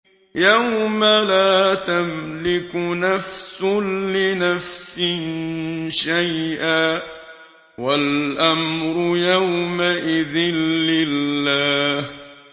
يَوْمَ لَا تَمْلِكُ نَفْسٌ لِّنَفْسٍ شَيْئًا ۖ وَالْأَمْرُ يَوْمَئِذٍ لِّلَّهِ